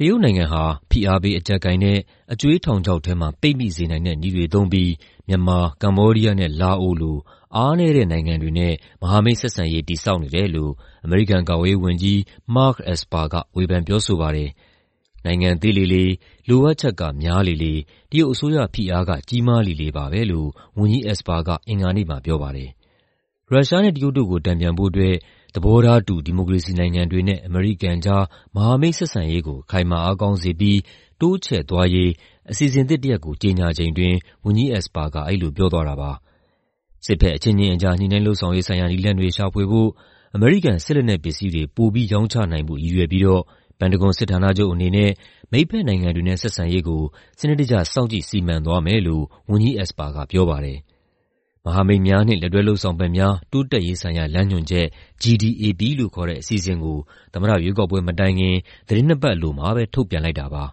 တရုတ်နိုင်ငံဟာ ဖိအားပေး အကျပ်ကိုင်တဲ့ အကြွေးထောင်ချောက်ထဲမှာ ပိတ်မိစေနိုင်တဲ့ နည်းတွေသုံးပြီး မြန်မာ၊ ကမ္ဘောဒီးယားနဲ့ လာအိုလို အားနည်းတဲ့နိုင်ငံတွေနဲ့ မဟာမိတ်ဆက်ဆံရေး တည်ဆောက်နေတယ်လို့ အမေရိကန်ကာကွယ်ရေးဝန်ကြီး Mark Esper က ဝေဖန် ပြောဆိုပါတယ်။ "နိုင်ငံ သေးလေလေ၊ လိုအပ်ချက်က များလေလေ၊ တရုတ်အစိုးရဖိအားက ကြီးမားလေလေပါပဲ။" လို့ ဝန်ကြီး Esper က အင်္ဂါနေ့မှာပြောပါတယ်။ ရုရှားနဲ့ တရုတ်တို့ကို တန်ပြန်ဖို့အတွက် သဘောထားတူ ဒီမိုကရေစီနိုင်ငံတွေနဲ့ အမေရိကန်ကြား မဟာမိတ်ဆက်ဆံရေးကို ခိုင်မာအားကောင်းစေပြီး တိုးချဲ့သွားရေး အစီအစဉ်သစ်တရပ်ကို ကြေညာချိန်အတွင်း ဝန်ကြီး Esper က အဲဒီလိုပြောသွားတာပါ။ စစ်ဘက်အချင်းချင်းကြား ညှိနှိုင်းလုပ်ဆောင်ရေးဆိုင်ရာ နည်းလမ်းတွေရှာဖွေဖို့၊ အမေရိကန် စစ်လက်နက်ပစ္စည်းတွေ ပိုပြီးရောင်းချနိုင်ဖို့ ရည်ရွယ်ပြီးတော့ ပန်တဂွန်စစ်ဌာနချုပ်အနေနဲ့ မိတ်ဘက်နိုင်ငံတွေနဲ့ ဆက်ဆံရေးကို စနစ်တကျ စောင့်ကြည့် စီမံသွားမယ်လို့ ဝန်ကြီး Esper ကပြောပါတယ်။ မဟာမိတ်များနှင့် လက်တွဲလုပ်ဆောင်ဖက်များ တိုးတက်ရေးဆိုင်ရာ လမ်းညွှန်ချက် (GDAP) လို့ခေါ်တဲ့ အစီအစဉ်ကို သမ္မတရွေးကောက်ပွဲမတိုင်ခင် သီတင်းနှစ်ပတ်အလိုမှာပဲ ထုတ်ပြန်လိုက်တာပါ။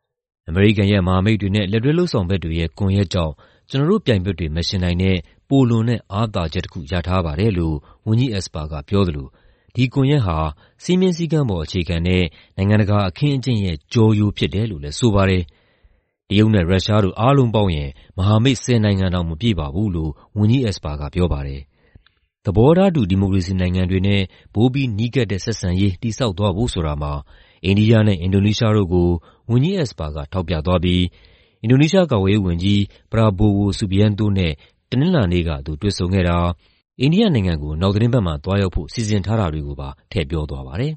"အမေရိကန်ရဲ့ မဟာမိတ်တွေနဲ့ လက်တွဲလုပ်ဆောင်ဖက်တွေရဲ့ ကွန်ယက်ကြောင့် ကျနော်တို့ပြိုင်ဘက်တွေ မယှဉ်နိုင်တဲ့ ပိုလွန်တဲ့ အားသာချက်တခု ရထားပါတယ်။" လို့ ဝန်ကြီး Esper ကပြောသလို ဒီကွန်ယက်ဟာ "စည်းမျဉ်းစည်းကမ်းပေါ် အခြေခံတဲ့ နိုင်ငံတကာအခင်းအကျင်းရဲ့ ကျောရိုး" ဖြစ်တယ်လို့လည်း ဆိုပါတယ်။ "တရုတ်နဲ့ ရုရှားတို့ အားလုံးပေါင်းရင် မဟာမိတ် ၁၀ နိုင်ငံတောင် မပြည့်ပါဘူး။" လို့ ဝန်ကြီး Esper က ပြောပါတယ်။ သဘောထားတူ ဒီမိုကရေစီနိုင်ငံတွေနဲ့ ပိုပြီးနီးကပ်တဲ့ ဆက်ဆံရေး တည်ဆောက်သွားဖို့ဆိုတာမှာ အိန္ဒိယနဲ့ အင်ဒိုနီးရှားတို့ကို ဝန်ကြီး Esper ကထောက်ပြသွားပြီး အင်ဒိုနီးရှား ကာကွယ်ရေးဝန်ကြီး Prabowo Subianto နဲ့ တနင်္လာနေ့က သူတွေ့ဆုံခဲ့တာ၊ အိန္ဒိယနိုင်ငံကို နောက်သီတင်းပတ်မှာ သွားရောက်ဖို့ စီစဉ်ထားတာတွေကိုပါ ထည့်ပြောသွားပါတယ်။